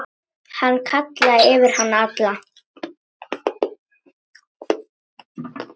Hann kallaði yfir alla.